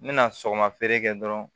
N mɛna sɔgɔma feere kɛ dɔrɔn